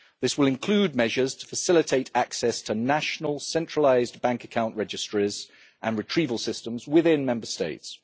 This will include measures to facilitate access to national centralised bank account registries and retrieval systems within Member States.